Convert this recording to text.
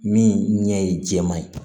Min ɲɛ ye jɛman ye